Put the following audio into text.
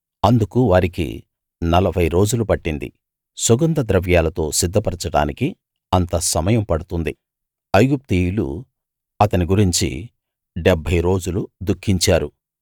అందుకు వారికి 40 రోజులు పట్టింది సుగంధ ద్రవ్యాలతో సిద్ధపరచడానికి అంత సమయం పడుతుంది ఐగుప్తీయులు అతని గురించి 70 రోజులు దుఖించారు